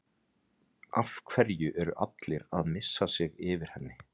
Af hverju er allir að missa sig yfir henni?